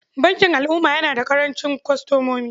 Bankin Al'umma yana da ƙarancin kwastomomi.